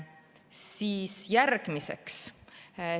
Siis järgmiseks.